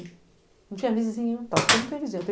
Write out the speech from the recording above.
Não tinha vizinho e tal, porque eu não tenho vizinho.